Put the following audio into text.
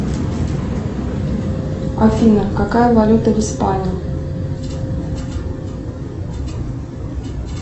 афина какая валюта в испании